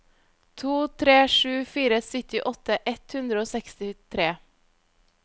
to tre sju fire syttiåtte ett hundre og sekstitre